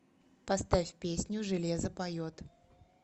поставь песню железо поет